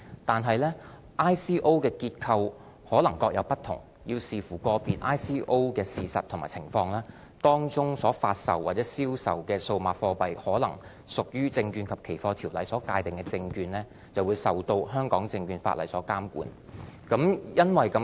但是 ，ICO 的結構可能各有不同，要視乎個別 ICO 的事實和情況，當中所發售或銷售的數碼貨幣可能屬於《證券及期貨條例》所界定的證券，而受到香港證券法例所監管。